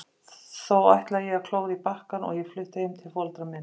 Þó ætlaði ég að klóra í bakkann og ég flutti heim til foreldra minna.